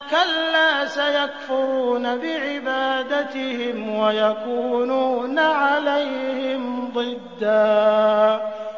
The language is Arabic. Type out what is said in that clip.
كَلَّا ۚ سَيَكْفُرُونَ بِعِبَادَتِهِمْ وَيَكُونُونَ عَلَيْهِمْ ضِدًّا